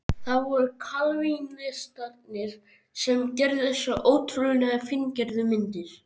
Það voru kalvínistarnir sem gerðu þessar ótrúlega fíngerðu myndir.